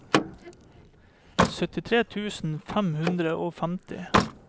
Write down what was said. syttitre tusen fem hundre og femti